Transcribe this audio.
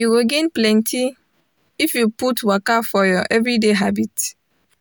you go gain plenty if you put waka for your everyday habit.